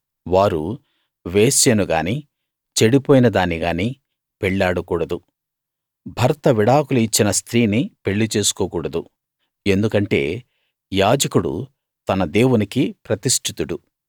వారు వేశ్యను గానీ చెడిపోయిన దాన్ని గానీ పెళ్లాడకూడదు భర్త విడాకులు ఇచ్చిన స్త్రీని పెళ్లి చేసుకోకూడదు ఎందుకంటే యాజకుడు తన దేవునికి ప్రతిష్ఠితుడు